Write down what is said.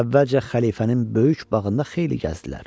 Əvvəlcə xəlifənin böyük bağında xeyli gəzdilər.